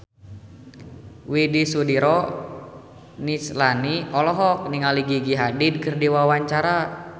Widy Soediro Nichlany olohok ningali Gigi Hadid keur diwawancara